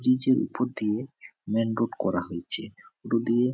ব্রিজের ওপর দিয়ে মেইন রোড করা হয়েছে । রোড এ --